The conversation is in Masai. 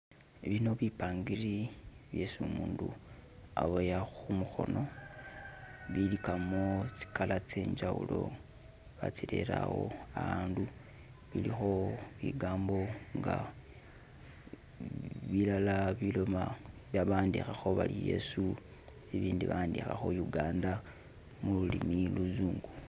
Eh bino bipangiri byesi umundu aboya khumukhono bilikamo tsi color tse njawulo , batsirere awo awandu, bilikho bigambo nga balala biloma bawandikhakho bari Yesu ibindi bawandikhakho Uganda mululimi luzungu